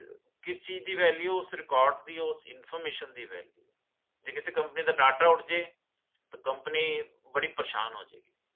ਕਿਸ ਚੀਜ਼ ਦੀ value ਓਸ record ਦੀ ਓਸ information ਦੀ value ਜੇ ਕਿਸੇ company ਦਾ data ਉੜ੍ਹਜੇ company ਬੜੀ ਪਰੇਸ਼ਾਨ ਹੋਜੇਗੀ